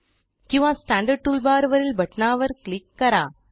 किंवा standard tool bar वरील बटणावर क्लिक करा